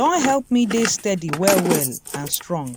don help me dey steady well well and strong.